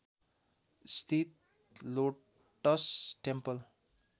स्थित lotus temple